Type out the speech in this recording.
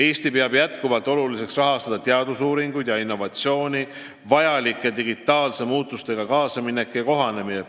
Eesti peab näiteks oluliseks rahastada enam teadusuuringuid ja innovatsiooni arendamist, ka on vaja kaasa minna digitaalsete muutustega.